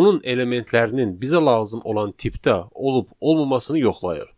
onun elementlərinin bizə lazım olan tipdə olub-olmamasını yoxlayır.